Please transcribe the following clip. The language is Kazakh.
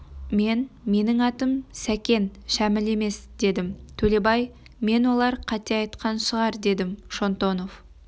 мен менің атым сәкен шәміл емес дедім төлебай мен олар қате айтқан шығар дедім шонтонов